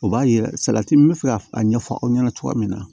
O b'a yira salati min bɛ fɛ ka a ɲɛfɔ aw ɲɛna cogoya min na